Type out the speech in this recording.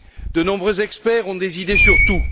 De nombreux experts ont des idées sur tout.